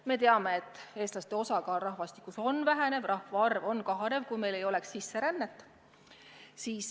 Me teame, et eestlaste osakaal rahvastikus väheneb ja kogu rahvaarv kahaneks, kui meil ei oleks sisserännet.